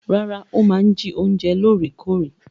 Rárá, ó máa ń jí oúnjẹ lóòrèkóòrè.